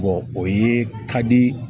o ye ka di